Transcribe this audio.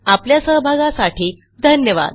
आपल्या सहभागासाठी धन्यवाद